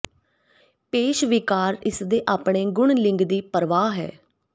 ਪੇਸ਼ ਵਿਕਾਰ ਇਸ ਦੇ ਆਪਣੇ ਗੁਣ ਲਿੰਗ ਦੀ ਪਰਵਾਹ ਹੈ